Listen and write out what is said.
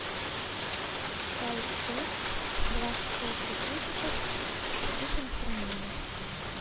чай тесс двадцать пять пакетиков со вкусом карамели